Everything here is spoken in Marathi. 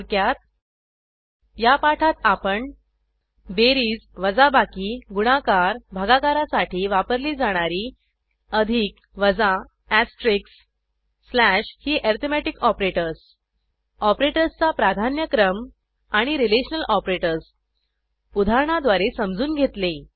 थोडक्यात या पाठात आपण बेरीज वजाबाकी गुणाकार भागाकारासाठी वापरली जाणारी अधिक वजा ऍस्टेरिक स्लॅश ही ऍरीथमेटिक ऑपरेटर्स ऑपरेटर्सचा प्राधान्यक्रम आणि रिलेशनल ऑपरेटर्स उदाहरणाद्वारे समजून घेतले